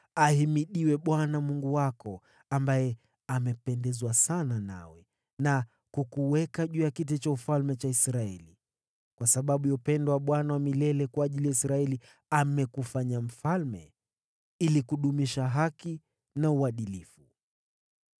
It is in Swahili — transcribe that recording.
Ahimidiwe Bwana Mungu wako, ambaye amependezwa sana nawe, na akakuweka juu ya kiti chake cha ufalme utawale kwa niaba ya Bwana Mungu wako. Kwa sababu ya upendo wa Mungu wako kwa Israeli na shauku yake ya kuwadhibitisha milele, amekufanya wewe mfalme juu yao, ili kudumisha haki na uadilifu.”